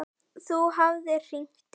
Hún hafði hringt í